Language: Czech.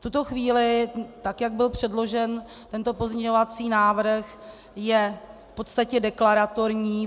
V tuto chvíli, tak jak byl předložen tento pozměňovací návrh, je v podstatě deklaratorní.